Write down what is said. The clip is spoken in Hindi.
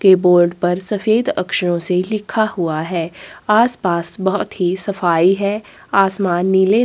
कीबोर्ड पर सफेद अक्षरों से लिखा हुआ है आसपास बहुत ही सफाई है आसमान नीले --